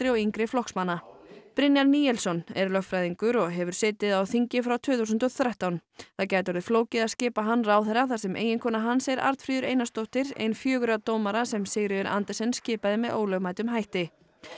og yngri flokksmanna Brynjar Níelsson er lögfræðingur og hefur setið á þingi frá tvö þúsund og þrettán það gæti orðið flókið að skipa hann ráðherra þar sem eiginkona hans er Arnfríður Einarsdóttir einn fjögurra dómara sem Sigríður Andersen skipaði með ólögmætum hætti